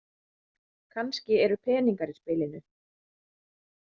Kannski eru peningar í spilinu.